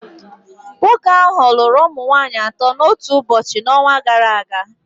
Nwoke ahụ lụrụ ụmụ nwanyị atọ n'otu ụbọchị n'ọnwa gara aga